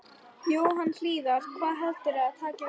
Jóhann Hlíðar: Hvað heldurðu að taki við núna?